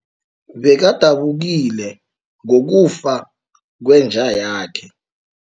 Bekadabukile ngokufa kwenja yakhe.